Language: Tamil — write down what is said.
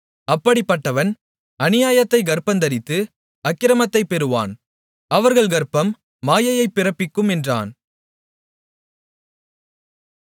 அப்படிப்பட்டவன் அநியாயத்தைக் கர்ப்பந்தரித்து அக்கிரமத்தைப் பெறுகிறான் அவர்கள் கர்ப்பம் மாயையைப் பிறப்பிக்கும் என்றான்